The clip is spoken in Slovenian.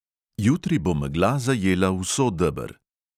Jutri bo megla zajela vso deber.